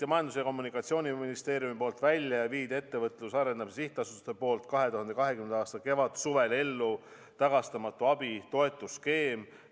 Majandus- ja Kommunikatsiooniministeerium töötas välja ja Ettevõtluse Arendamise Sihtasutus viis 2020. aasta kevadsuvel ellu tagastamatu abi toetusskeemi.